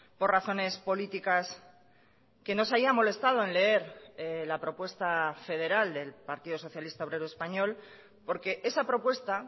por razones políticas que no se haya molestado en leer la propuesta federal del partido socialista obrero español porque esa propuesta